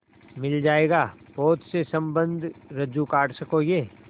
मिल जाएगा पोत से संबद्ध रज्जु काट सकोगे